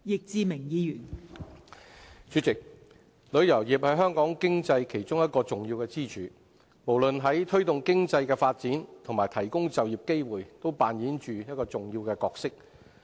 代理主席，旅遊業是香港經濟其中一個重要支柱，無論在推動經濟的發展及提供就業機會方面均扮演着重要的角色。